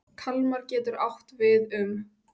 Kalmar getur átt við um